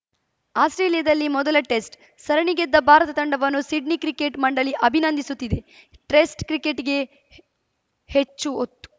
ಆಸ್ಪ್ರೇಲಿಯಾದಲ್ಲಿ ಮೊದಲ ಟೆಸ್ಟ್‌ ಸರಣಿ ಗೆದ್ದ ಭಾರತ ತಂಡವನ್ನು ಸಿಡ್ನಿ ಕ್ರಿಕೆಟ್‌ ಮಂಡಳಿ ಅಭಿನಂದಿಸುತ್ತಿದೆ ಟೆಸ್ಟ್‌ ಕ್ರಿಕೆಟ್‌ಗೆ ಹೆ ಹೆಚ್ಚು ಒತ್ತು